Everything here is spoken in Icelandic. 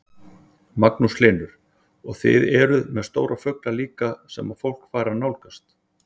Magnús Hlynur: Og þið eruð með stóra fugla líka sem að fólk fær að nálgast?